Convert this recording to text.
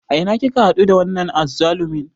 A ina kika haɗu da wannan azzalumin?